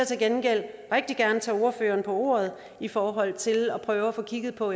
til gengæld rigtig gerne tage ordføreren på ordet i forhold til at prøve at få kigget på